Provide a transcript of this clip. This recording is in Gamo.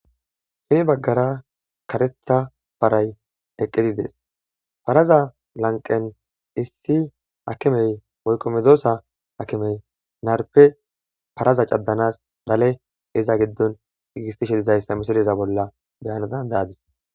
Hini baggara karetha paray eqqizi des faraza lanqen issi akimey woykqo medoosa akimey narpe paraza caddanas lale iza giddon gigistishi dizayssa misiliza bolla beyanadan daadis